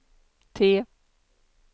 T